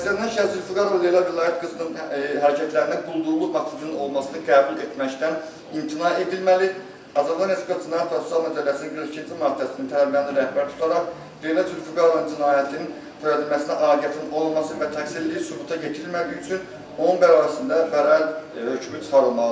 Təqsirləndirilən şəxs Leyla Zülfüqarova Leyla Vilayət qızının hərəkətlərində quldurluq maksusunun olmasını qəbul etməkdən imtina edilməli, Azərbaycan Respublikası Cinayət Prosessual Məcəlləsinin 42-ci maddəsinin tələblərini rəhbər tutaraq, Leyla Zülfüqarova cinayətini törədilməsinə aidiyyatının olmaması və təqsirliliyi sübuta yetirilmədiyi üçün onun barəsində bəraət hökmü çıxarılmalıdır.